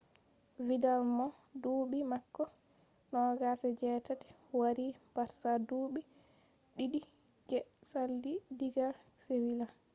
vidal mo duɓi mako 28 wari barsa duɓi ɗiɗi je sali diga sevila